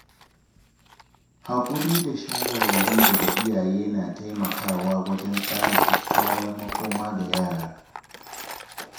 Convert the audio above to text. Haƙuri da shawarwari daga iyaye na taimakawa wajen tsara kyakkyawar makoma ga yara.